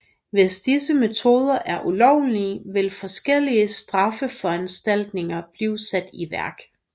Hvis disse metoder er ulovlige vil forskellige straffeforanstaltninger blive sat i værk